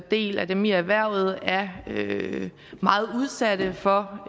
del af dem i erhvervet er meget udsatte for